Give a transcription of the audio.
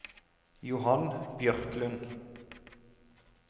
Johan Bjørklund